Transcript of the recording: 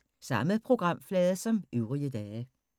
Samme programflade som øvrige dage